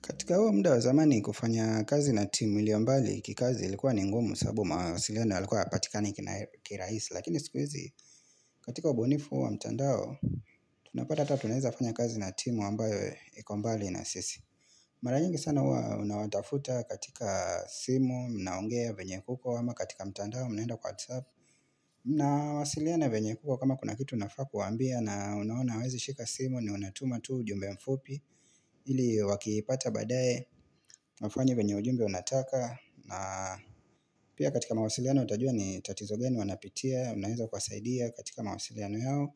Katika huo mda wa zamani kufanya kazi na timu iliombali kikazi ilikuwa ni ngumu sababu mawasiliano yalikuwa hayapatikani kirahisi. Lakini sikuizi katika ubunifu wa mtandao tunapata ata tunaweza fanya kazi na timu ambayo iko mbali na sisi. Mara nyingi sana hua unawatafuta katika simu mnaongea venye kuko ama katika mtandao mnaenda kwa WhatsApp. Nawasiliana venye kuko kama kuna kitu unafaa kuwambia na unaona hawezi shika simu ni unatuma tu ujumbe mfupi. Ili wakiipata badae, wafanye venye ujumbe unataka na pia katika mawasiliano utajua ni tatizo gani wanapitia Unaeza kuwasaidia katika mawasiliano yao